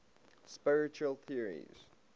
spiritual theories